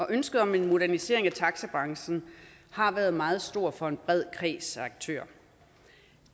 ønsket om en modernisering af taxibranchen har været meget stor fra en bred kreds af aktører